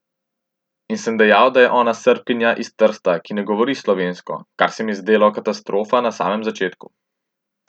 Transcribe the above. In sem dejal, da je ona Srbkinja iz Trsta, ki ne govori slovensko, kar se mi je zdelo katastrofa na samem začetku.